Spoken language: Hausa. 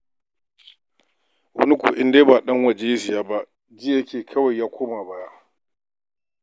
Wani kuwa in dai ba ɗan waje ya saya ba ji yake ya koma baya.